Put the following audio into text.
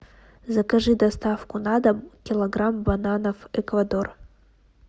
закажи доставку на дом килограмм бананов эквадор